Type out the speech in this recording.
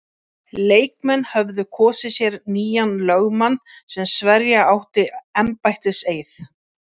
Leikmenn höfðu kosið sér nýjan lögmann sem sverja átti embættiseið.